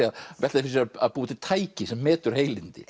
fyrir sér að búa til tæki sem metur heilindi